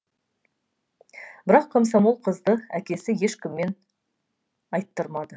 бірақ комсомол қызды әкесі ешкіммен айттырмады